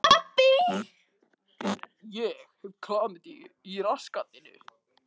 Hvað gerið þið?